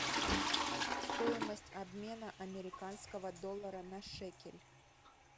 стоимость обмена американского доллара на шекель